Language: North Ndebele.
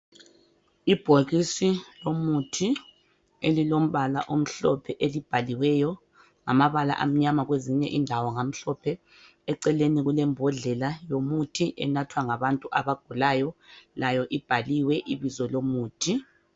Ibhokisi lomuthi elilombala omhlophe elibhaliweyo ngamabala amnyama kwezinye indawo ngamhlophe. Eceleni kulembodlela yomuthi enathwa ngabantu abagulayo layo ibhaliwe ibizo lomuthi .